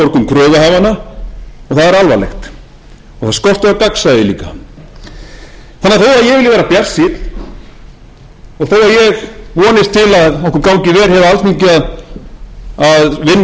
þó að ég vilji vera bjartsýnn og þó að ég vonist til að okkur gangi vel hér á